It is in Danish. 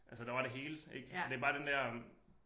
Altså der var det hele ik og det bare den der øh